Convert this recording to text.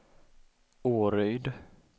Åryd